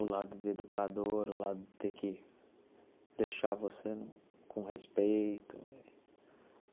O lado de educador, o lado de ter que deixar você com respeito.